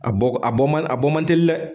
A bɔ, a bɔ ma, a bɔ mantɛli dɛ.